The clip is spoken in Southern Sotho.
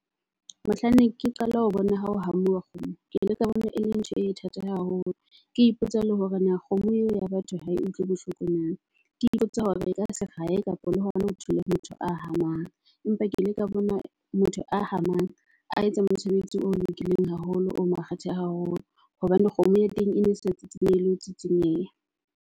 Mohlanne ke qala ho bona ya hamuwa kgomo ke le ka bona, e leng ntho e thata haholo. Ke ipotsa le hore na kgomo eo ya batho ho e utlwe bohloko na ke ipotsa hore e ka serae kapa le hona ho ho thula motho a hamang. Empa ke ile ka bona motho a hamang a etsa mosebetsi o lokileng haholo o makgethe haholo. Hobane kgomo ya teng e ne e sa tseysinyehe le ho tsitsinyeha.